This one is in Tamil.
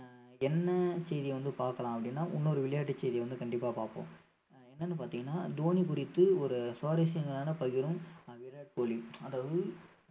ஆஹ் என்ன செய்தி வந்து பார்க்கலாம் அப்படின்னா இன்னொரு விளையாட்டு செய்தி வந்து கண்டிப்பா பார்ப்போம் ஆஹ் என்னன்னு பாத்தீங்கன்னா தோனி குறித்து ஒரு சுவாரசியங்களான பகிரும் ஆஹ் விராட் கோலி அதாவது